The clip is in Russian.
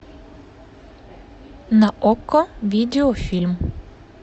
на окко видео фильм